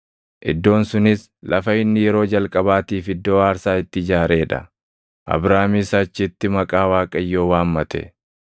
iddoon sunis lafa inni yeroo jalqabaatiif iddoo aarsaa itti ijaaree dha. Abraamis achitti maqaa Waaqayyoo waammate.